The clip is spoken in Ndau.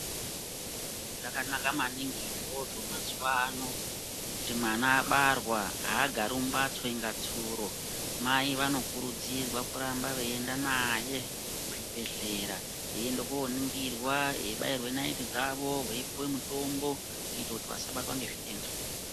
Zvakanaka maningi izvozvo mazuvano kuti mwana abarwa agari mumbatsokunge tsuro .Mai vanokurudzirwa kuramba veinda naye kuzvibhehlera eindwa koningirwa ebairwa nando dzavo veipihwa mitombo kuita kuti vasabatwe nezvitenda.